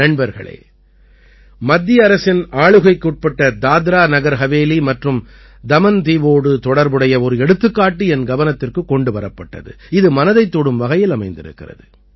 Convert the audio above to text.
நண்பர்களே மத்திய அரசின் ஆளுகைக்குட்பட்ட தாத்ராநகர் ஹவேலி மற்றும் தமன்தீவோடு தொடர்புடைய ஒரு எடுத்துக்காட்டு என் கவனத்திற்குக் கொண்டு வரப்பட்டது இது மனதைத் தொடும் வகையில் அமைந்திருக்கிறது